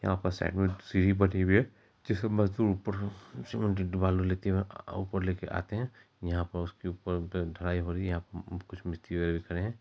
यहाँ पर सीढ़ी बटी हुई है जिसमे मजदूर ऊपर र सीमेंट बालू लेते हुए ऊपर लेके आते है। यहां प उसके ऊपर ऊऊ ढलाई हो रही है। यहां पे ऊऊ कुछ मिस्त्री वगैरह खड़े हैं।